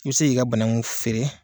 I bi se k'i ka banaku feere.